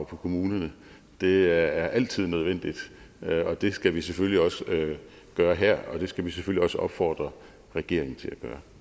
på kommunerne det er altid nødvendigt og det skal vi selvfølgelig også gøre her og det skal vi selvfølgelig også opfordre regeringen til